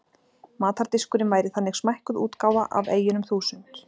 Matardiskurinn væri þannig smækkuð útgáfa af eyjunum þúsund.